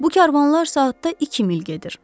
Bu karvanlar saatda iki mil gedir.